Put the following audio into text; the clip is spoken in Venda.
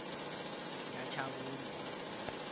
nyatshavhungwa